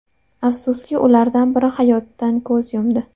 Afsuski, ulardan biri hayotdan ko‘z yumdi.